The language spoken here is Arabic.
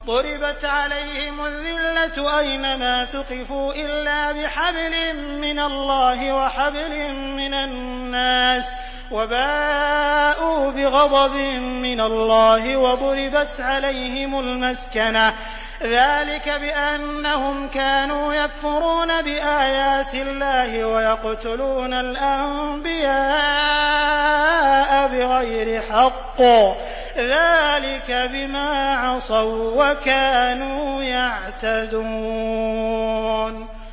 ضُرِبَتْ عَلَيْهِمُ الذِّلَّةُ أَيْنَ مَا ثُقِفُوا إِلَّا بِحَبْلٍ مِّنَ اللَّهِ وَحَبْلٍ مِّنَ النَّاسِ وَبَاءُوا بِغَضَبٍ مِّنَ اللَّهِ وَضُرِبَتْ عَلَيْهِمُ الْمَسْكَنَةُ ۚ ذَٰلِكَ بِأَنَّهُمْ كَانُوا يَكْفُرُونَ بِآيَاتِ اللَّهِ وَيَقْتُلُونَ الْأَنبِيَاءَ بِغَيْرِ حَقٍّ ۚ ذَٰلِكَ بِمَا عَصَوا وَّكَانُوا يَعْتَدُونَ